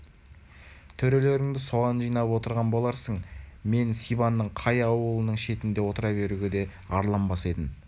төрелеріңді соған жинап отырған боларсың мен сибанның қай ауылының шетінде отыра беруге де арланбас едім